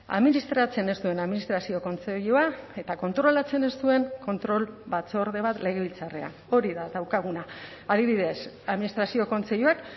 administratzen ez duen administrazio kontseilua eta kontrolatzen ez duen kontrol batzorde bat legebiltzarrean hori da daukaguna adibidez administrazio kontseiluak